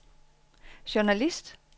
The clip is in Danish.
journalist